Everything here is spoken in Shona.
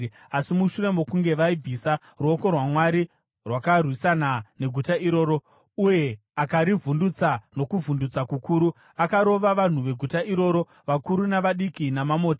Asi mushure mokunge vaibvisa, ruoko rwaMwari rwakarwisana neguta iroro, uye akarivhundutsa nokuvhundutsa kukuru. Akarova vanhu veguta iroro, vakuru navadiki, namamota.